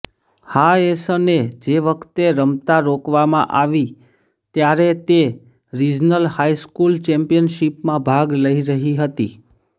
હાએસને જે વખતે રમતાં રોકવામાં આવી ત્યારે તે રિજનલ હાઇસ્કૂલ ચેમ્પયનશિપમાં ભાગ લઈ રહી હતી